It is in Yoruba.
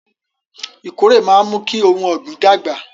Ìkórè máa ń mú kí ohun ọ̀gbìn dàgbà